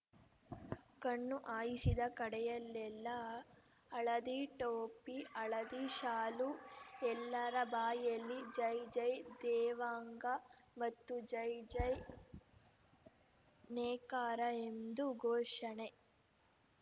ಕಣ್ಣು ಹಾಯಿಸಿದ ಕಡೆಯೆಲ್ಲೆಲ್ಲಾ ಹಳದಿ ಟೋಪಿ ಹಳದಿ ಶಾಲು ಎಲ್ಲರ ಬಾಯಿಯಲ್ಲಿ ಜೈ ಜೈ ದೇವಾಂಗ ಮತ್ತು ಜೈ ಜೈ ನೇಕಾರ ಎಂದು ಘೋಷಣೆ